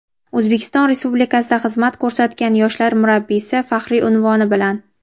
"O‘zbekiston Respublikasida xizmat ko‘rsatgan yoshlar murabbiysi" faxriy unvoni bilan.